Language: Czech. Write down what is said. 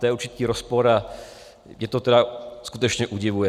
To je určitý rozpor a mě to tedy skutečně udivuje.